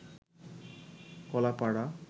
Kalapara